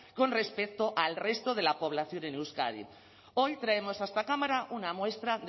con respecto al resto de la población en euskadi hoy traemos a esta cámara una muestra